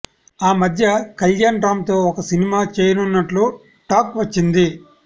ఆ మధ్య కళ్యాణ్ రామ్ తో ఒక సినిమా చేయనున్నట్లు టాక్ వచ్చింది